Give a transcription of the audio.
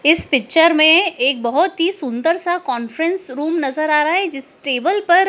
इस पिक्चर में एक बहुत ही सुंदर सा कॉन्फ्रेंस रूम नजर आ रहा है जिस टेबल पर।